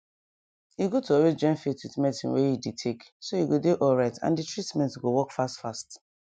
e good to always join faith with medicine wey you dey take so you go dey alright and dey treatment go work fast fast